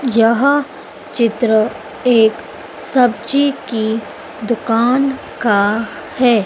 यह चित्र एक सब्जी की दुकान का है।